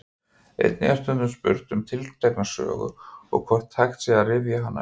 Einnig er stundum spurt um tiltekna sögu og hvort hægt sé að rifja hana upp.